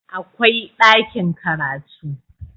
akwai ɗakin karatu